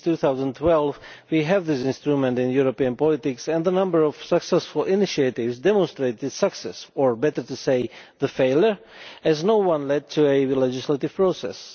Since 2012 we have had this instrument in European politics, and the number of successful initiatives demonstrates its success or, better to say, failure as not one led to a legislative process.